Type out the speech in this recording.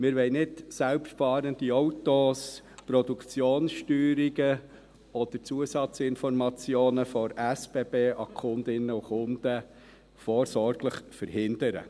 Wir wollen selbstfahrende Autos, Produktionssteuerungen oder Zusatzinformationen der SBB an die Kundinnen und Kunden nicht vorsorglich verhindern.